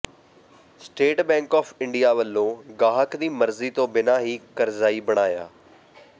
state Bank of India ਵੱਲੋਂ ਗਾਹਕ ਦੀ ਮਰਜ਼ੀ ਤੋਂ ਬਿਨਾਂ ਹੀ ਕਰਜ਼ਈ ਬਣਾਇਆ